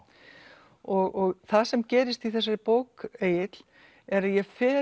og það sem gerist í þessari bók Egill er að ég fer